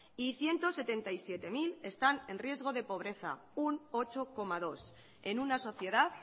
y ciento setenta mil están en riesgo de pobreza un ocho coma dos por ciento en una sociedad